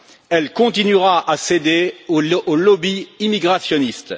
Elle continuera à céder aux lobbies immigrationnistes.